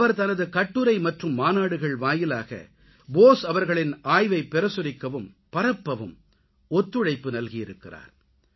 அவர் தனது கட்டுரை மற்றும் மாநாடுகள் வாயிலாக போஸ் அவர்களின் ஆய்வைப்பிரசுரிக்கவும் பரப்பவும் ஒத்துழைப்பு நல்கியிருக்கிறார்